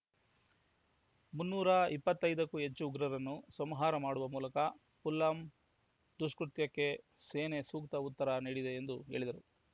ಮುನ್ನೂರ ಇಪ್ಪತ್ತೈದಕ್ಕೂ ಹೆಚ್ಚು ಉಗ್ರರನ್ನು ಸಂಹಾರ ಮಾಡುವ ಮೂಲಕ ಪುಲ್ವಾಮ್‌ ದುಷ್ಕೃತ್ಯಕ್ಕೆ ಸೇನೆ ಸೂಕ್ತ ಉತ್ತರ ನೀಡಿದೆ ಎಂದು ಹೇಳಿದರು